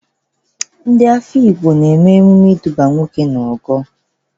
Ndị Ehụgbọ na-eme ememe ịdụba nwa nwoke n'ogo.